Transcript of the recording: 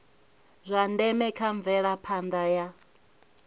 zwa ndeme kha mvelaphanda ya